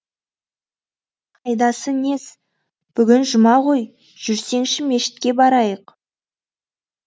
қайдасы нес бүгін жұма ғой жүрсеңші мешітке барайық